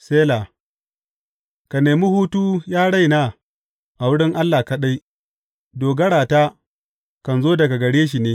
Sela Ka nemi hutu, ya raina, a wurin Allah kaɗai; dogarata kan zo daga gare shi ne.